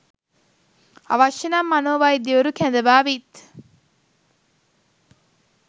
අවශ්‍ය නම් මනෝ වෛද්‍යවරු කැඳවා විත්